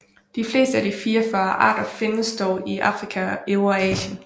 De fleste af de 44 arter findes dog i Afrika og Eurasien